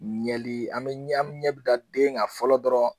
Ɲɛli an bɛ ɲɛ an bɛ ɲɛ bɛ da den kan fɔlɔ dɔrɔn